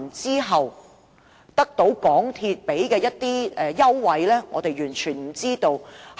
究竟對我們的下一代或再下一代影響有多深遠，我們也不知道。